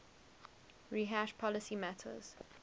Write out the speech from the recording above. rehash policy matters